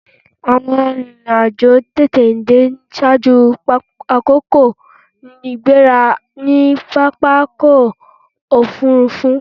Àwọn arìnrìn-àjò ń tètè dé ṣaájú àkókò ìgbéra ní pápákọ̀-òfurufú.